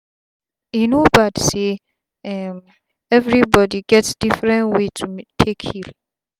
e no bad say um everi bodi get different way to take heal